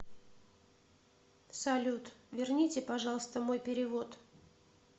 салют верните пожалуйста мой перевод